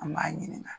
An b'a ɲininga